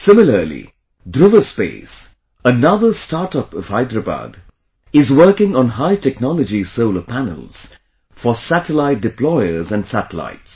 Similarly, Dhruva Space, another StartUp of Hyderabad, is working on High Technology Solar Panels for Satellite Deployer and Satellites